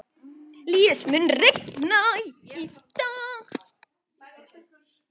Líus, mun rigna í dag?